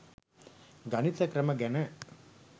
ගණිත ක්‍රම ගැන.